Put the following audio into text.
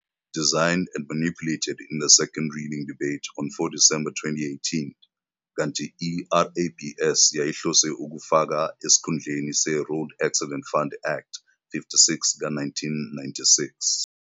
design and manipulated in the Second Reading Debate on 4 December 2018, kanti i-RABS yayihlose ukufaka esikhundleni se-Road Accident Fund Act 56 ka-1996.